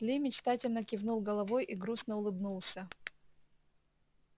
ли мечтательно кивнул головой и грустно улыбнулся